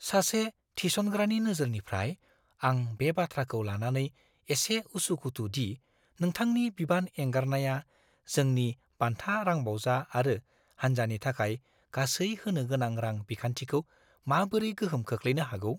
सासे थिसनग्रानि नोजोरनिफ्राय, आं बे बाथ्राखौ लानानै एसे उसु-खुथु दि नोंथांनि बिबान एंगारनाया जोंनि बान्था रांबावजा आरो हान्जानि थाखाय गासै होनो गोनां रां बिखान्थिखौ माबोरै गोहोम खोख्लैनो हागौ।